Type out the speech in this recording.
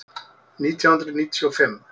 Nítján hundruð níutíu og fimm